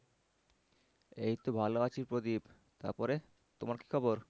এই তো ভালো আছি প্রদীপ তারপরে তোমার কি খবর?